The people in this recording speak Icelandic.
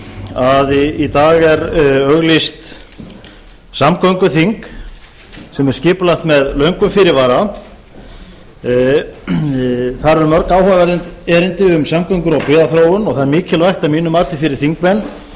að í dag er auglýst samgönguþing sem er skipulagt með löngum fyrirvara þar eru mörg áhugaverð erindi um samgöngur og byggðaþróun og það er mikilvægt að mínu mati fyrir þingmenn að